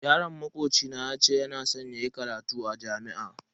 Yaron makoci na yace yana san yayi karatu a jami'a.